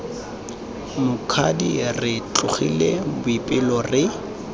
mokgadi re tsogile boipelo re